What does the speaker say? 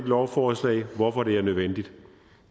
lovforslaget og hvorfor det er nødvendigt